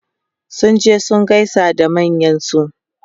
sun je su gaisa da manyansu